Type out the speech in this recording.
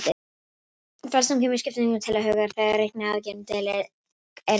Flestum kemur skipting til hugar þegar reikniaðgerðin deiling er nefnd.